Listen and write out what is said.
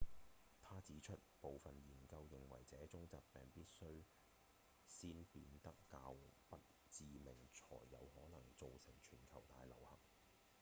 他指出部分研究認為這種疾病必須先變得較不致命才有可能造成全球大流行